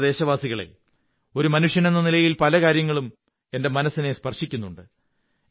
പ്രിയപ്പെട്ട ദേശവാസികളേ ഒരു മനുഷ്യനെന്ന നിലയിൽ പല കാര്യങ്ങളും എന്റെ മനസ്സിനെ സ്പര്ശിവക്കുന്നുണ്ട്